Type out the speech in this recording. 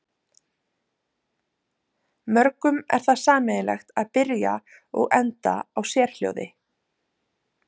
mörgum er það sameiginlegt að byrja og enda á sérhljóði